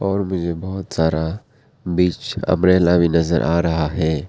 और मुझे बहुत सारा बीच अंब्रेला भी नजर आ रहा है।